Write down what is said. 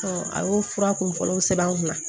a y'o fura kun fɔlɔ sɛbɛn n kunna